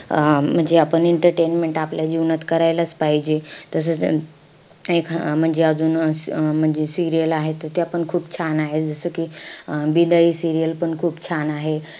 अं म्हणजे आपण entertainment आपल्या जीवनात करायलाच पाहिजे. तसंच एक म्हणजे अजून अं अं म्हणजे serial आहे. त त्यापण खूप छान आहेत. जसं कि अं बिदाई serial पण खूप छान आहे.